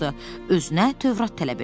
Özünə Tövrat tələb elədi.